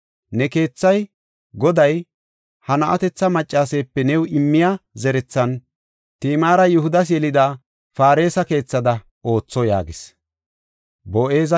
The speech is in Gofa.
Ne keethay, Goday, ha na7atetha maccaseepe new immiya zerethan Timaara Yihudas yelida Faaresa keethada ootho” yaagis.